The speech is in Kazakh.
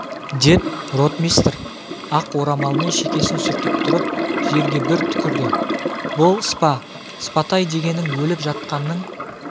деп ротмистр ақ орамалмен шекесін сүртіп тұрып жерге бір түкірді бұл спа спатай дегенің өліп жатқанның